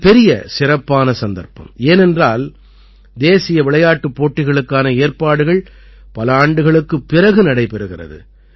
இது பெரிய சிறப்பான சந்தர்ப்பம் ஏனென்றால் தேசிய விளையாட்டுப் போட்டிகளுக்கான ஏற்பாடுகள் பல ஆண்டுகளுக்குப் பிறகு நடைபெறுகிறது